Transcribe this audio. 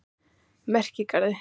Merkigarði